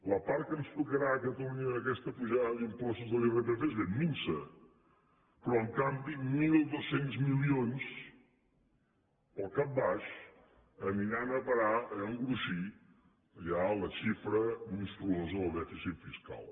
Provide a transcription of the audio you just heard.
la part que ens tocarà a catalunya d’aquesta pujada d’impostos de l’irpf és ben minsa però en canvi mil dos cents milions pel cap baix aniran a parar a engruixir ja la xifra monstruosa del dèficit fiscal